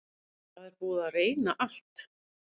Það er búið að reyna allt.